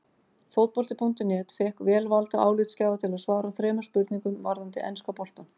Fótbolti.net fékk vel valda álitsgjafa til að svara þremur spurningum varðandi enska boltann.